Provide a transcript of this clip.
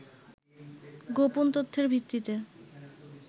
গোপন তথ্যের ভিত্তিতে